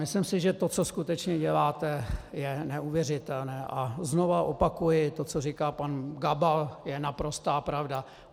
Myslím si, že to, co skutečně děláte, je neuvěřitelné, a znovu opakuji: To, co říká pan Gabal, je naprostá pravda.